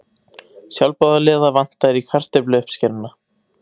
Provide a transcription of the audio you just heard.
Sjálfboðaliða vantar í kartöfluuppskeruna